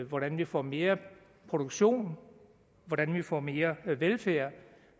hvordan vi får mere produktion hvordan vi får mere velfærd